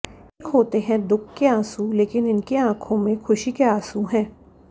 एक होते है दुख के आंसू लेकिन इनके आंखो में खुशी के आंसू है